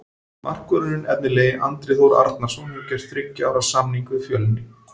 Markvörðurinn efnilegi Andri Þór Arnarson hefur gert þriggja ára samning við Fjölni.